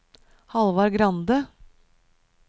Halvard Grande